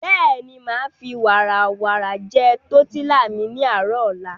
Bẹ́ẹ̀ni, màá fi wààràwà jẹ tọ̀tílà mi ní àárò ọ̀la.